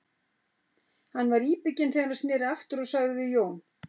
Hann var íbygginn þegar hann sneri aftur og sagði við Jón